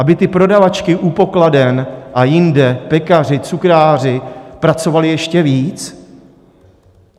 Aby ty prodavačky u pokladen a jinde, pekařky, cukráři, pracovali ještě víc?